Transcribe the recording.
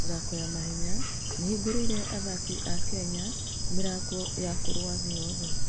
mĩthako ya mahenya nĩ ĩhingũrĩte athaki a Kenya mĩrango ya kũrũa thĩ yothe.